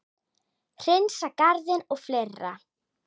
Hreinsa garðinn og fleira.